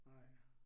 Nej